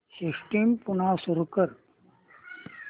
system पुन्हा सुरू कर